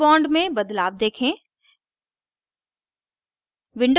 hash bond में बदलाव देखें